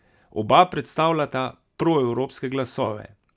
Oba predstavljala proevropske glasove.